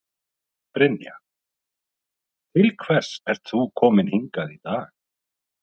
Brynja: Til hvers ert þú kominn hingað í dag?